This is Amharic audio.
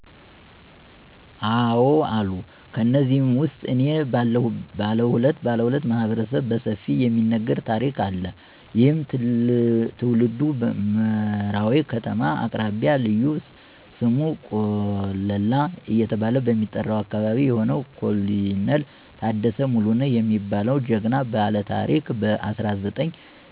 አዎ አሉ። ከነዚህም ውስጥ እኔ ባለሁለት ማህበረሰብ በሰፊው የሚነገር ታሪክ አለ። ይህም ትውልዱ መራዊ ከተማ አቅራቢያ ልዩ ስሙ ቆለላ እየተባለ በሚጠራው አካበቢ የሆነው ኮሎኔል ታደሰ ሙሉነህ የሚባለው ጀግና ባለታሪክ በ1969